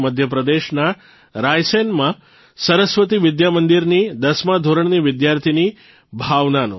મધ્યપ્રદેશના રાયસેનમાં સરસ્વતી વિદ્યામંદિરની દસમા ધોરણની વિદ્યાર્થિની ભાવનાનો